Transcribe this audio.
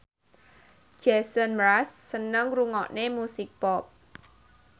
Jason Mraz seneng ngrungokne musik pop